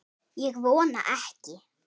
Ég vona ekki